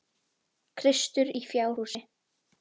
Kristur í fjárhúsi.